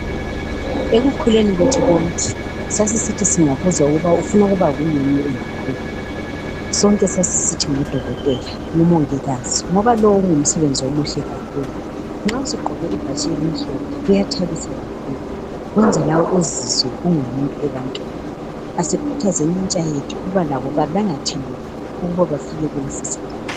Ekukhuleni kwethu konke sasisithi singabuzwa uku ufuna ukuba yini ungakhula sonke sasisithi ngodokotela, omongikazi ngoba lowu ngumsebenzi omuhle kakhulu nxa sugqoke ibhatshi elimhlophe kuyathabisa kakhulu kwenza lawe uzizwe ungumuntu ebantwini asikhuthazeni intsha yethu ukuba labo balangathelele ukuba bafike kulesi sigaba.